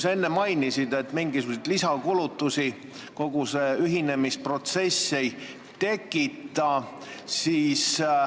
Sa enne mainisid, et mingisuguseid lisakulutusi kogu see ühinemisprotsess ei tekita.